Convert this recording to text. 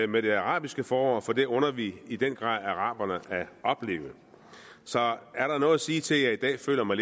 med det arabiske forår for det under vi i den grad araberne at opleve så er der noget at sige til at jeg i dag føler mig